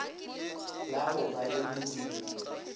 la go ba le modumo